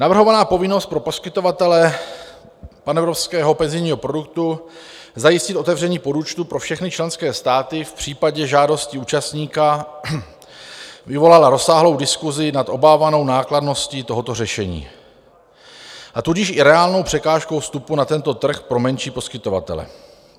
Navrhovaná povinnost pro poskytovatele panevropského penzijního produktu zajistit otevření podúčtu pro všechny členské státy v případě žádosti účastníka vyvolala rozsáhlou diskusi nad obávanou nákladností tohoto řešení, a tudíž i reálnou překážkou vstupu na tento trh pro menší poskytovatele.